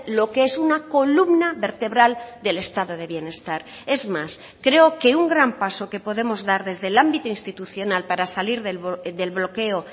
lo que es una columna vertebral del estado de bienestar es más creo que un gran paso que podemos dar desde el ámbito institucional para salir del bloqueo